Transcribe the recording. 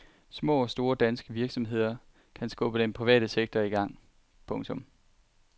Små og store danske virksomheder kan skubbe den private sektor i gang. punktum